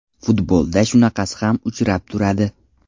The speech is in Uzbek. Futbolda shunaqasi ham uchrab turadi.